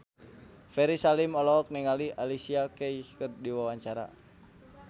Ferry Salim olohok ningali Alicia Keys keur diwawancara